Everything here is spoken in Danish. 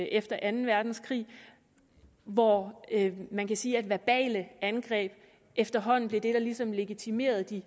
efter anden verdenskrig hvor man kan sige at verbale angreb efterhånden blev det der ligesom legitimerede de